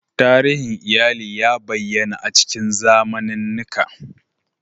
Tarihin iyali ya bayyana a cikin zamanannika.